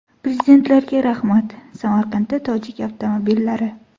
Prezidentlarga rahmat!” Samarqandda tojik avtomobillari.